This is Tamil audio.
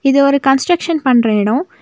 இது ஒரு கன்ஸ்டிரக்ஷன் பண்ற எடோ.